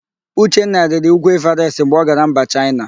Uchenna rịrị úgwú Ịvarest mgbe ọ gara mba Chaịna.